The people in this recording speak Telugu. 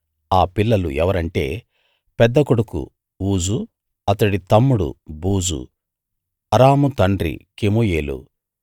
ఆ పిల్లలు ఎవరంటే పెద్ద కొడుకు ఊజు అతడి తమ్ముడు బూజు అరాము తండ్రి కెమూయేలు